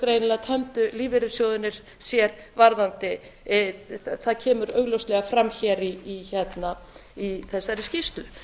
greinilega tömdu lífeyrissjóðirnir sér varðandi það kemur augljóslega fram hér í þessari skýrslu